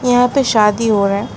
यहां पे शादी हो रहा है।